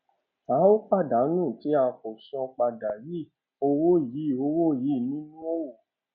a óò pàdánù tí a kò san padà yìí owó yìí owó yìí nínú òwò